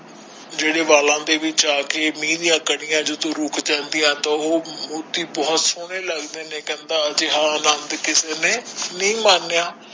ਜਿਹੜੇ ਵਾਲਾ ਦੇ ਵਿਚ ਆ ਕੇ ਜਦੋ ਮਹਿ ਦੀਆ ਕਨਿਆਂ ਜਦੋ ਰੁਕ ਜਾਂਦੀਆਂ ਬਹੁਤ ਸੋਹਣੇ ਲੱਗਦੇ ਕੇ ਕਹਿੰਦਾ ਏਹੋ ਜਾ ਅਨੰਦ ਕਿਸੇ ਨੇ ਨਹੀਂ ਮਾਣਿਆ